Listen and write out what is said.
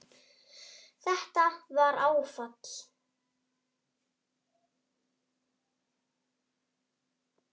Þetta var áfall.